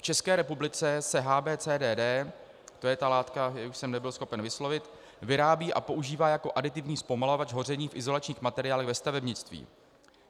V České republice se HBCDD - to je ta látka, kterou jsem nebyl schopen vyslovit - vyrábí a používá jako aditivní zpomalovač hoření v izolačních materiálech ve stavebnictví.